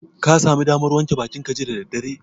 Ka sami damar wanke bakinka jiya da daddare?